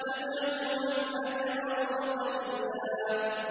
تَدْعُو مَنْ أَدْبَرَ وَتَوَلَّىٰ